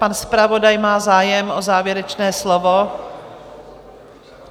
Pan zpravodaj má zájem o závěrečné slovo?